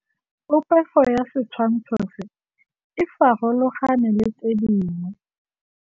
Popêgo ya setshwantshô se, e farologane le tse dingwe.